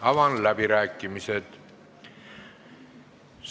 Avan läbirääkimised.